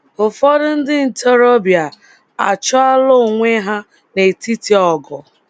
Ụfọdụ ndị ntorobịa achọala ọnwe ha netiti ọgụ!